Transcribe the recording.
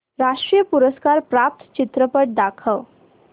राष्ट्रीय पुरस्कार प्राप्त चित्रपट दाखव